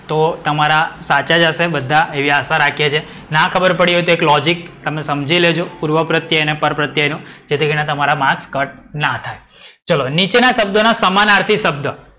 તો તમારા સાચા જ હશે બધા એવી આશા રાખીએ છીએ. ના ખબર પડી હોય તો એક લૉજિક તમે સમજી લેજો. પૂર્વપ્રત્યય અને પરપ્રત્યયનો, જેથી કરીને તમારા માર્ક ના કટ ના થાય. ચલો નીચેના શબ્દો ના સમાનાર્થી શબ્દ.